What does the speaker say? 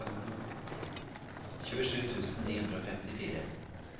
tjuesju tusen ni hundre og femtifire